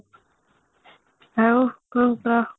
ଆଉ କଣ କହ